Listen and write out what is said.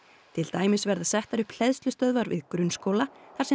til dæmis verða settar upp hleðslustöðvar við grunnskóla þar sem